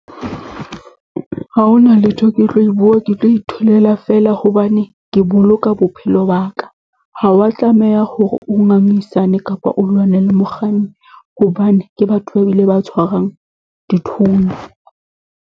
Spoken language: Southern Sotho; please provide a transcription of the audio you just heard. Ha hona letho ke tlo e bua, ke tlo itholela fela hobane ke boloka bophelo ba ka. Ha o wa tlameha hore o ngangisane kapa o lwane le mokganni, hobane ke batho ba bile ba tshwarang dithunya.